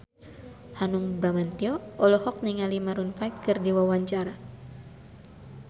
Hanung Bramantyo olohok ningali Maroon 5 keur diwawancara